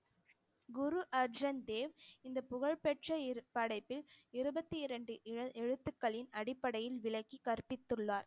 குரு அர்ஜன்தேவ் இந்த புகழ்பெற்ற இரு படைப்பில் இருபத்தி இரண்டு எழு~ எழுத்துக்களின் அடிப்படையில் விளக்கி கற்பித்துள்ளார்